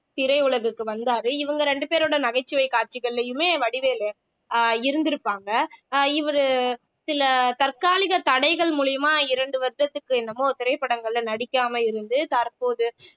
திரையுலகுக்கு வந்தாரு இவங்க ரெண்டு பேரோட நகைச்சுவை காட்சிகள்லயுமே வடிவேலு அஹ் இருந்திருப்பாங்க அஹ் இவரு சில தற்காலிக தடைகள் மூலியமா இரண்டு வருஷத்துக்கு என்னமோ திரைப்படங்கள்ல நடிக்காம இருந்து தற்போது